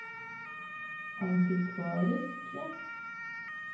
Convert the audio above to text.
antikvariske